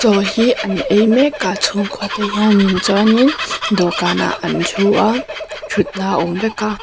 chaw hi an ei mek a chhungkua te hianin chuanin dawhkanah an thu a thutna awm vek a.